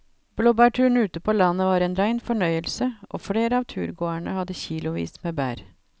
Blåbærturen ute på landet var en rein fornøyelse og flere av turgåerene hadde kilosvis med bær.